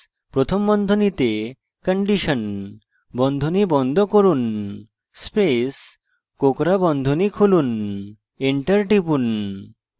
if space প্রথম বন্ধনীতে condition বন্ধনী বন্ধ করুন space কোঁকড়া বন্ধনী খুলুন enter টিপুন